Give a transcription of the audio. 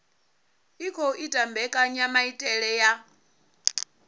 i khou ita mbekanyamaitele ya